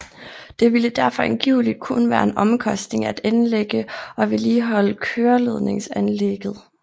Det ville derfor angiveligt kun være en omkostning at anlægge og vedligeholde køreledningsanlægget